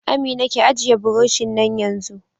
Amina, ki ajiye buroshin nan yanzu!